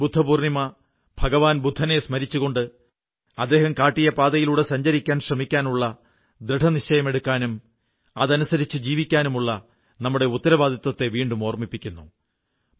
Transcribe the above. ഈ ബുദ്ധ പൂർണ്ണിമ ഭഗവാൻ ബുദ്ധനെ സ്മരിച്ചുകൊണ്ട് അദ്ദേഹം കാട്ടിയ പാതയിലൂടെ സഞ്ചരിക്കാൻ ശ്രമിക്കാനുള്ള ദൃഢനിശ്ചയമെടുക്കാനും അതനുസരിച്ചു ജീവിക്കാനുമള്ള നമ്മുടെ ഉത്തരവാദിത്വത്തെ വീണ്ടും ഓർമ്മിപ്പിക്കുന്നു